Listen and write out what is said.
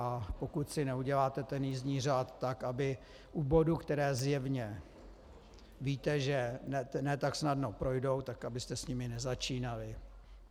A pokud si neuděláte ten jízdní řád tak, aby u bodů, které zjevně víte, že ne tak snadno projdou, tak abyste s nimi nezačínali.